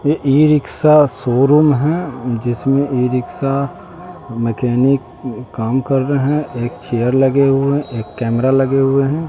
ये e rickshaw showroom हैं जिसमें ई रिक्शा मैकेनिक काम कर रहे हैं एक चेयर लगे हुए एक कैमरा लगे हुए हैं।